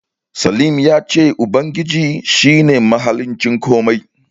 Slim ya ce Ubangiji shi ne mahaliccin komai.